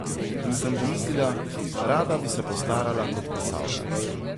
In sem pomislila: 'Rada bi se postarala kot plesalka.